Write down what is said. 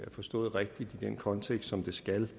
forstået rigtigt i den kontekst som det skal